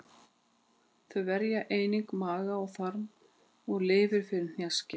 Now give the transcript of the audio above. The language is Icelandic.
Þau verja einnig maga, þarma og lifur fyrir hnjaski.